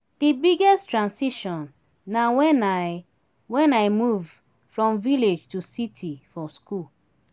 di biggest transition na when i when i move from village to city for school.